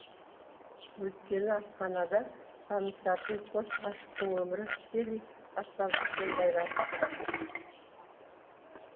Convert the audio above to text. өйткені асханада танысатын қос ғашықтың өмірі тікелей аспаздықпен байланысты